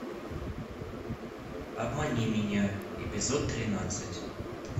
обмани меня эпизод тринадцать